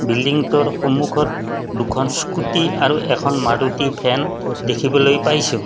বিল্ডিংটোৰ সন্মুখত দুখন স্কুটী আৰু এখন মাৰুতি ভেন দেখিবলৈ পাইছোঁ।